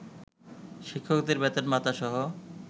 শিক্ষকদের বেতন-ভাতাসহ